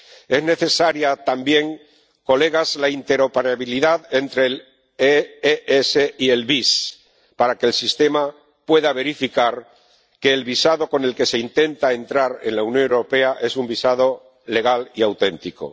Es necesaria también, señorías, la interoperabilidad entre el SES y el VIS para que el sistema pueda verificar que el visado con el que se intenta entrar en la Unión Europea es un visado legal y auténtico.